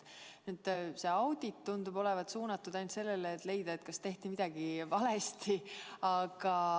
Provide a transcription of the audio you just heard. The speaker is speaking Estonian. See audit tundub olevat suunatud ainult sellele, et leida, kas tehti midagi valesti.